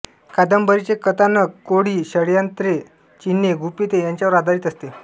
कादंबरीचे कथानक कोडी षड्यंत्रे चिन्हे गुपिते याच्यावर आधारित असते